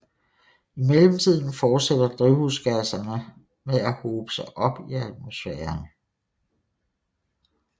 I mellemtiden fortsætter drivhusgasserne med at hobe sig op i atmosfæren